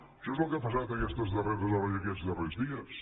això és el que ha passat aquestes darreres hores i aquests darrers dies